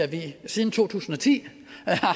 vi siden to tusind og ti